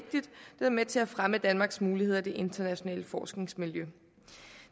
være med til at fremme danmarks muligheder i det internationale forskningsmiljø